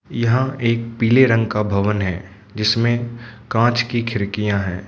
यहां एक पीले रंग का भवन है जिसमें कांच की खिड़कियां हैं।